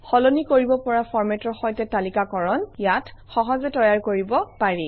সলনি কৰিব পৰা ফৰ্মেটৰ সৈতে তালিকাকৰণ ইয়াত সহজে তৈয়াৰ কৰিব পাৰি